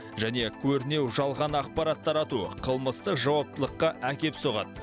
және көрінеу жалған ақпарат тарату қылмысты жауаптылыққа әкеп соғады